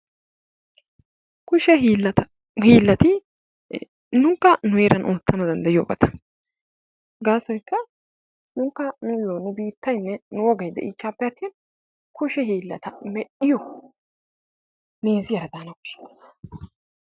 Kushe hiilata, hiilati nunkka nu heeran ootanawu danddayiyoobata. Gassoyka nunkka nuuyo nu biitaynne nu wogay iittappe atin kushe hiilata medhiyo meeze daana koshshees.